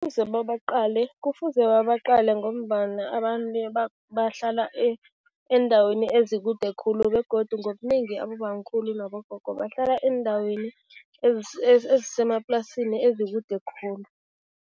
babaqale kufuze babaqale ngombana abantu bahlala eendaweni ezikude khulu begodu ngobunengi abobamkhulu nabogogo bahlala eendaweni ezisemaplasini ezikude khulu.